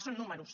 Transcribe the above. són números